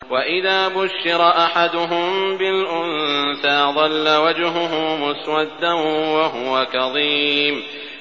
وَإِذَا بُشِّرَ أَحَدُهُم بِالْأُنثَىٰ ظَلَّ وَجْهُهُ مُسْوَدًّا وَهُوَ كَظِيمٌ